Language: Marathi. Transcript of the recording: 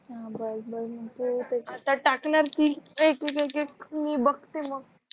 आता टाकणार कि एक मिनिट मी बघते मग